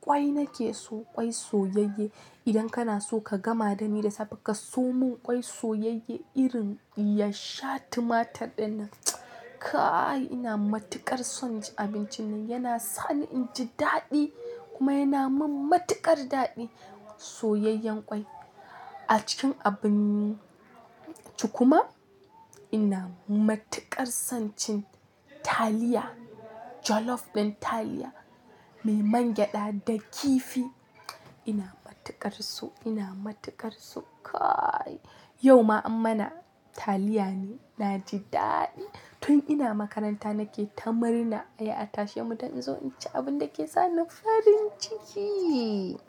Kwai nake so, ƙwai soyayye. Idan kana so ka gama dani da safe ka somin ƙwai soyayye irin ya sha tumatur dinnan. Kai! Ina matuƙar son cin abincin nan. Yana sani inji daɗi kuma yana min matuƙar daɗi soyayyen ƙwai. A cikin abun ci kuma ina matuƙar son cin taliya. Jollof da taliya mai man gyada da kifi. Ina matuƙar so. Ina matuƙar so. Kai! Yau ma ammana taliya ne naje daɗi. Tun ina makaranta nake ta marina ai a tashe mu dan in zo in ci abinda yake sani farin ciki.